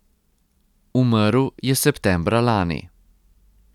Umrl je septembra lani.